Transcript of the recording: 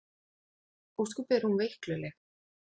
Ósköp er hún veikluleg.